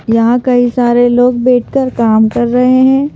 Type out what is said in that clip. यहां कई सारे लोग बैठकर काम कर रहे हैं।